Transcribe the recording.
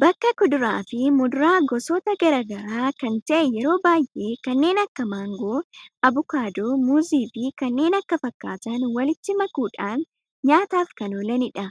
Bakka kuduraa fi muduraa goosota garagaraa kan ta'e yeroo baay'ee kanneen akka mangoo, abuukaado, muuzii fi kanneen kan fakkatan waliitti makaamuudhan nyaataaf kan oolanidha.